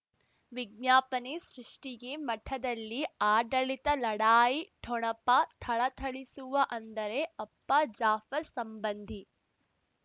ವಿಜ್ಞಾಪನೆ ಸೃಷ್ಟಿಗೆ ಮಠದಲ್ಲಿ ಆಡಳಿತ ಲಢಾಯಿ ಠೊಣಪ ಥಳಥಳಿಸುವ ಅಂದರೆ ಅಪ್ಪ ಜಾಫರ್ ಸಂಬಂಧಿ